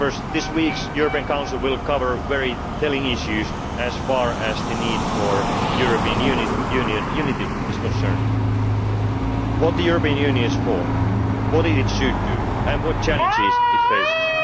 Council. This week's European Council will cover very telling issues as far as the need for European Union unity is concerned what the European Union is for what it should do and what challenges